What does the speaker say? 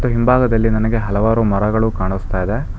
ಹಿಂಭಾಗದಲ್ಲಿ ನನಗೆ ಹಲವಾರು ಮರಗಳು ಕಾಣಿಸ್ತಾ ಇದೆ.